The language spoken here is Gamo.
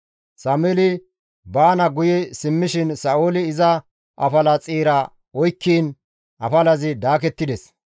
Sameeli baana guye simmishin Sa7ooli iza afala xeera oykkiin afalazi daakettides.